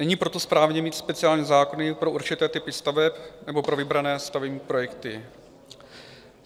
Není proto správné mít speciální zákony pro určité typy staveb nebo pro vybrané stavební projekty.